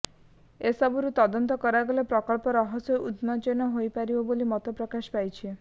ଏସବୁର ତଦନ୍ତ କରାଗଲେ ପ୍ରକୃତ ରହସ୍ୟ ଉନ୍ମୋଚନ ହୋଇପାରିବ ବୋଲି ମତ ପ୍ରକାଶ ପାଇଛି